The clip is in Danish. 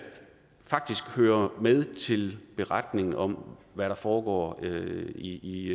hører med til beretningen om hvad der foregår i